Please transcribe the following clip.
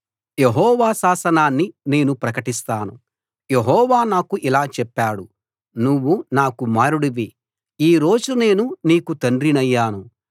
యెహోవా శాసనాన్ని నేను ప్రకటిస్తాను యెహోవా నాకు ఇలా చెప్పాడు నువ్వు నా కుమారుడివి ఈ రోజు నేను నీకు తండ్రినయ్యాను